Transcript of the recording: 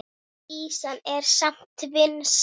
Ýsan er samt vinsæl.